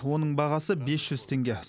оның бағасы бес жүз теңге